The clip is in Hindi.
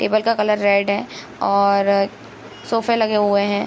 टेबल का कलर रेड है और सोफे लगे हुए है।